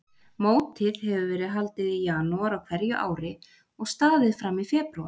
Mótið hefur verið haldið í janúar á hverju ári og staðið fram í febrúar.